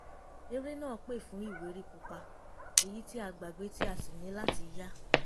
eré náà pè fún ìwé rí pupa èyí tí a gbàgbé tí a sì ní láti yá